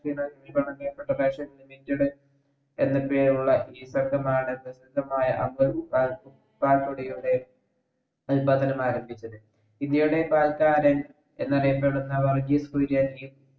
പ്രസിദ്ദമായ ആരംഭിച്ചത് ഇന്ത്യയുടെ പാൽക്കാരൻ എന്നറിയപ്പെടുന്ന വർഗീസ് കുരിയൻ